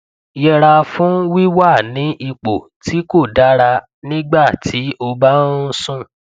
yẹra fún wíwà ní ipò tí kò dára nígbà tí o bá ń sùn